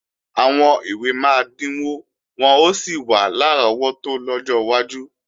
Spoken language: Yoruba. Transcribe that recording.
Àwọn ìwé máa dínwó wọ́n ó sì wà lárọ́wọ́tó lọ́jọ́ iwájú